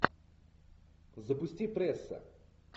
запусти пресса